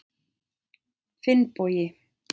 Finnbogi